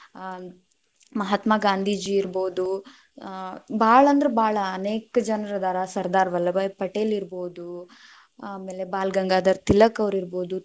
ಆ ಮಹಾತ್ಮಗಾಂಧೀಜಿ ಇರ್ಬೋದು, ಆ ಭಾಳ ಅಂದ್ರ ಭಾಳ ಅನೇಕ್ ಜನ್ರ ಅದಾರ ಸದಾ೯ರ್‌ ವಲ್ಲಭಾಯ್‌ ಪಟೇಲ್‌ ಇರ್ಬೋದು, ಆಮೇಲೆ ಬಾಲ ಗಂಗಾಧರ ತಿಲಕ ಅವ್ರ ಇರ್ಬೋದು